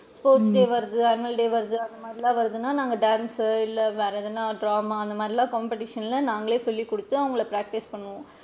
Sports day வருது annual day வருது அந்த மாதிரிலா வருதுன்னா நாங்க dance சு இல்லன்னா வேற ஏதுன்னா drama அந்த மாதிரிலா competition ல நாங்களே சொல்லி குடுத்தோம் அவுங்கள practice பண்ணுவோம்.